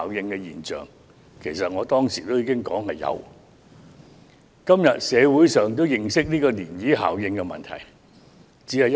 我當時曾說道會出現這效應，社會今天也認識到漣漪效應的問題。